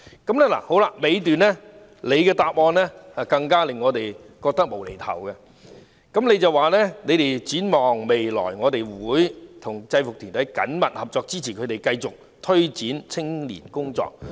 "主體答覆的最後一段更令我們覺得"無厘頭"，便是局長提到："展望未來，我們會與制服團體緊密合作，支持它們繼續推展青年工作"。